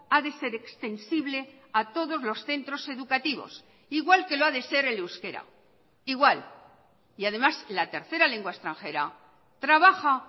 ha de ser extensible a todos los centros educativos igual que lo ha de ser el euskera igual y además la tercera lengua extranjera trabaja